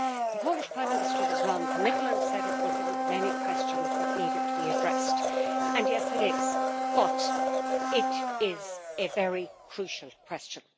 The Polish Prime Minister was non committal and said it was one of many questions that needed to be addressed, and yes, it is but it is a very crucial question.